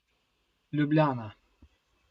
Ljubljana.